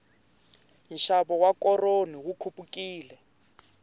nxavo wa koroni wu khupukile